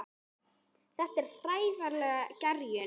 Þetta er hægfara gerjun.